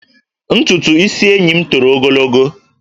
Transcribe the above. Ntutu isi enyi m toro ogologo